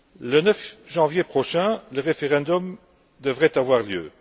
Le 9 janvier prochain, le référendum devrait avoir lieu.